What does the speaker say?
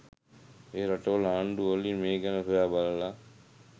ඒ රටවල ආණ්ඩු වලින් මේ ගැන සොයා බලල